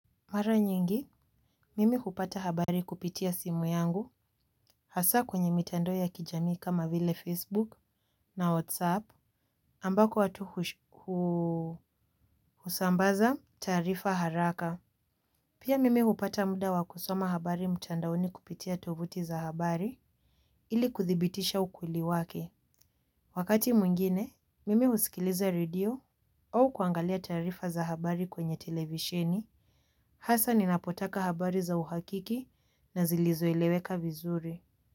Mara nyingi, mimi hupata habari kupitia simu yangu, hasa kwenye mitandao ya kijami kama vile Facebook na WhatsApp ambako watu husambaza taarifa haraka. Pia mimi hupata muda wa kusoma habari mtandaoni kupitia tovuti za mtandao ili kudhibitisha ukweli wake. Wakati mwingine, mimi usikiliza redio au kuangalia taarifa za habari kwenye televisheni, hasa ninapotaka habari za uhakiki na zilizoeleweka vizuri.